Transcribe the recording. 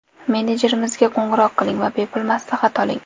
Menejerimizga qo‘ng‘iroq qiling va bepul maslahat oling!